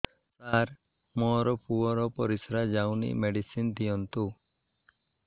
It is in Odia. ସାର ମୋର ପୁଅର ପରିସ୍ରା ଯାଉନି ମେଡିସିନ ଦିଅନ୍ତୁ